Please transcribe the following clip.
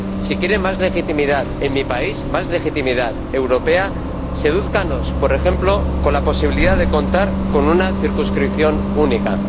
Si quieren más legitimidad en mi país, más legitimidad europea, sedúzcannos, por ejemplo, con la posibilidad de contar con una circunscripción única.